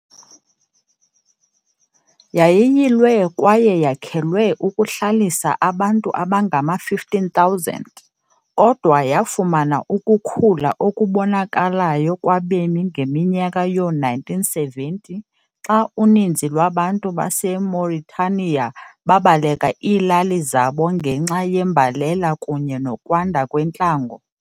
Yayiyilwe kwaye yakhelwe ukuhlalisa abantu abangama-15,000, kodwa yafumana ukukhula okubonakalayo kwabemi ngeminyaka yoo-1970s xa uninzi lwabantu baseMauritaniya babaleka iilali zabo ngenxa yembalela kunye nokwanda kwentlango.